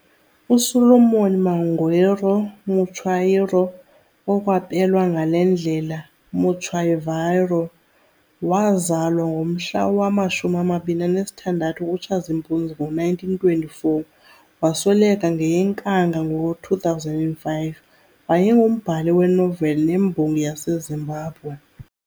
USolomon Mangwiro Mutswairo okwapelwa ngale ndlela Mutsvairo, waazalwa ngomhla wama-26 kuTshazimpuzi ngo-1924 - wasweleka ngeyeNkanga ngo-2005, wayengumbhali weenoveli nembongi yaseZimbabwe.